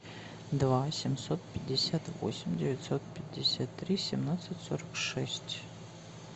два семьсот пятьдесят восемь девятьсот пятьдесят три семнадцать сорок шесть